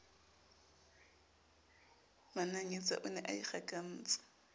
mananyetsa o ne a ikgakantse